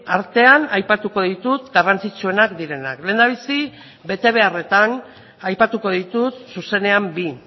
artean aipatuko ditut garrantzitsuenak direnak lehendabizi betebeharretan aipatuko ditut zuzenean bi